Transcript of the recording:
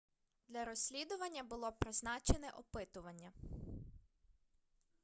для розслідування було призначене опитування